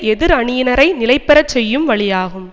எதிர் அணியினரை நிலைபெற செய்யும் வழியாகும்